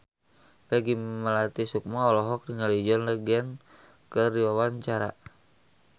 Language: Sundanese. Peggy Melati Sukma olohok ningali John Legend keur diwawancara